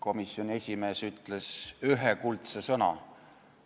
Komisjoni esimees ütles ühe kuldse sõna.